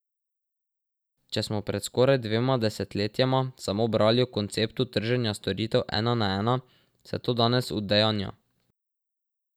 Če smo pred skoraj dvema desetletjema samo brali o konceptu trženja storitev ena na ena, se to danes udejanja.